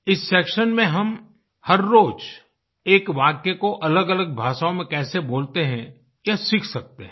इस सेक्शन में हम हर रोज एक वाक्य को अलगअलग भाषाओँ में कैसे बोलते हैं यह सीख सकते हैं